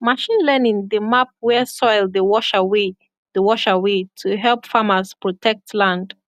machine learning dey map where soil dey wash away dey wash away to help farmers protect land